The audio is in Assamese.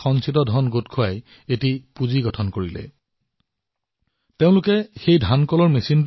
সেই সময়ত মীনা ৰাহংডালেজীয়ে আটাইবোৰ মহিলাক একত্ৰিত কৰি আত্মসহায়ক গোট গঠন কৰিলে আৰু সকলোৱে জমাধন সংগ্ৰহ কৰিলে